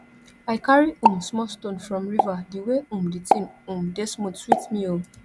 i carry um small stone from river di way um di tin um dey smooth sweet me o